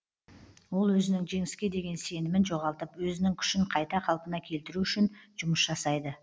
ол өзінің жеңіске деген сенімін жоғалтып өзінің күшін қайта қалпына келтіру үшін жұмыс жасайды